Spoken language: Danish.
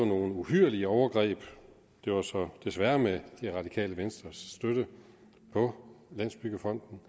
nogle uhyrlige overgreb det var så desværre med det radikale venstres støtte på landsbyggefonden